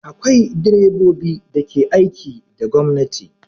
Akwai direbobi da ke aiki da gwamnati.